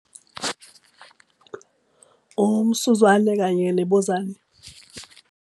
Umsuzwane, kanye nebuzane .